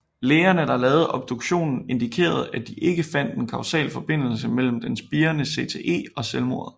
Lægerne der lavede obduktionen indikererede at de ikke fandt en kausal forbindelse mellem den spirende CTE og selvmordet